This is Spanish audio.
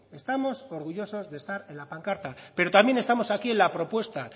estamos orgullosos de estar en la pancarta pero también estamos aquí en la propuesta